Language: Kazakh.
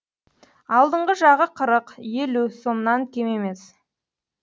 алдыңғы жағы қырық елу сомнан кем емес